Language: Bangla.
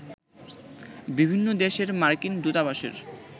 বিভিন্ন দেশের মার্কিন দূতাবাসের